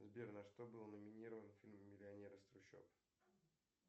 сбер на что был номинирован фильм миллионер из трущоб